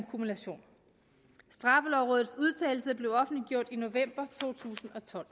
kumulation straffelovrådets udtalelse blev offentliggjort i november to tusind og tolv